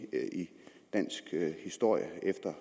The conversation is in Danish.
dansk historie